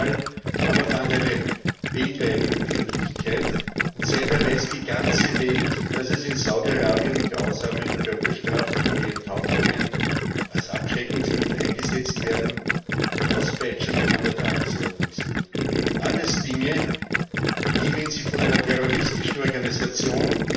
Dieser Fall aber fand eine weltweite Öffentlichkeit, und seither weiß die ganze Welt, dass in Saudi Arabien grausame Körperstrafen wie Enthauptungen als Abschreckungsmittel eingesetzt werden und Auspeitschungen an der Tagesordnung sind. Alles Dinge, die, wenn sie von einer terroristischen Organisation